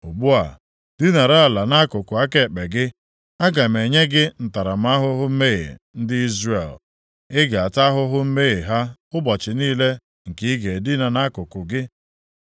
“Ugbu a, dinara ala nʼakụkụ aka ekpe gị, aga m enye gị ntaramahụhụ mmehie ndị Izrel, ị ga-ata ahụhụ mmehie ha ụbọchị niile nke ị ga-edina nʼakụkụ gị.